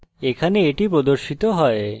এখানে এটি প্রদর্শিত হয়